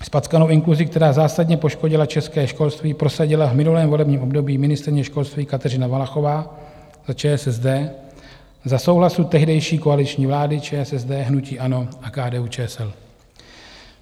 Zpackanou inkluzi, která zásadně poškodila české školství, prosadila v minulém volebním období ministryně školství Kateřina Valachová za ČSSD za souhlasu tehdejší koaliční vlády ČSSD, hnutí ANO a KDU-ČSL.